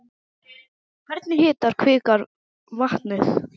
Hvernig hitar kvikan vatnið?